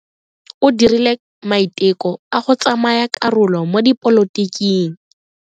O dirile maiteko a go tsaya karolo mo dipolotiking.